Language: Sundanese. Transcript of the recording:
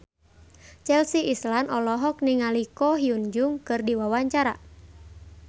Chelsea Islan olohok ningali Ko Hyun Jung keur diwawancara